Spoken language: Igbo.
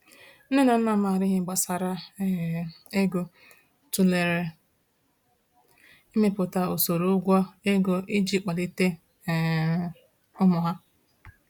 Nne na nna maara ihe gbasara um ego tụlere imepụta usoro ụgwọ ego iji kpalite um ụmụ ha.